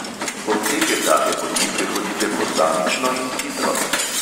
Odseke take poti prehodite posamično in hitro.